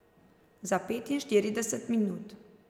Za petinštirideset minut.